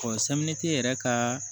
samiti yɛrɛ kaa